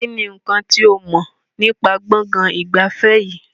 Kínní nkán tí o mọ̀ nípa gbọ̀ngàn ìgbafẹ́ yìí?